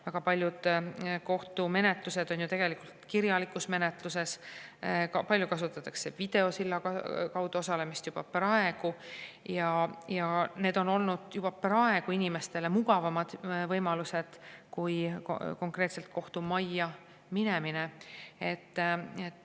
Väga paljud kohtu on ju tegelikult kirjalikus menetluses, palju kasutatakse videosilla kaudu osalemist juba praegu ja need on olnud inimestele mugavamad võimalused kui konkreetselt kohtumajja minemine.